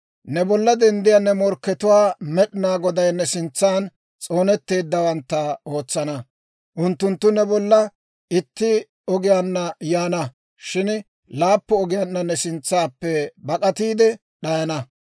«Ne bollan denddiyaa ne morkkatuwaa Med'inaa Goday ne sintsan s'oonetteeddawantta ootsana. Unttunttu ne bolla itti ogiyaanna yaana; shin laappun ogiyaanna ne sintsaappe bak'atiide d'ayana.